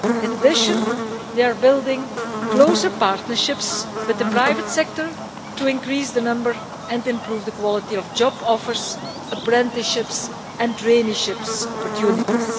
In addition, they are building closer partnerships with the private sector to increase the number and improve the quality of job offers, apprenticeships and traineeship opportunities.